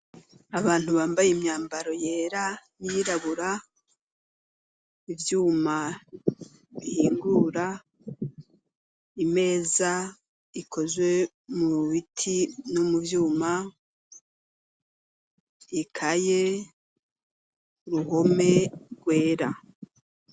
Abantu, bambaye imyambaro yera n'iyirabu, ivyuma bihingura, imeza ikozwe mu biti no mu vyuma, ikaye, uruhome rwera.